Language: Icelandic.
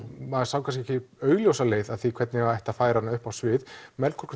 maður sá ekki augljósa leið að því hvernig ætti að færa hana upp á svið Melkorku